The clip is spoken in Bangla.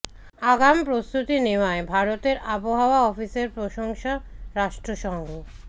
আগাম প্রস্তুতি নেওয়ায় ভারতের আবহাওয়া অফিসের প্রশংসা রাষ্ট্র সঙ্ঘ